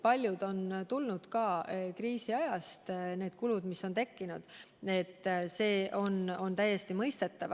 Paljud kulud on tulenenud ka kriisiajast, see on täiesti mõistetav.